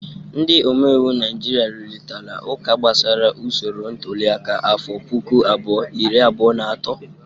Ndị omeiwu Naijiria rụrịtara ụka gbasara usoro ntuliaka afọ puku abụọ, iri abụọ na atọ.